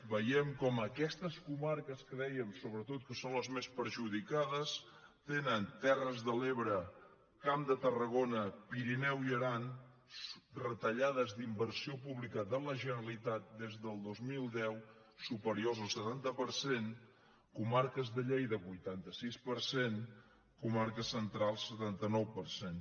veiem com aquestes comarques que dèiem sobretot que són les més perjudicades tenen terres de l’ebre camp de tarragona pirineu i aran retallades d’inversió pública de la generalitat des del dos mil deu superiors al setanta per cent comarques de lleida vuitanta sis per cent comarques centrals setanta nou per cent